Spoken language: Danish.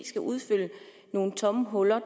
skal udfylde nogle tomme huller